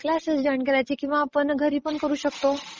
Classes join करायचे किंवा आपण घरी पण करू शकतो.